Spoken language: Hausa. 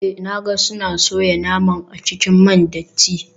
Eh na ga suna soya naman a cikin man datti.